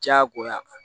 Diyagoya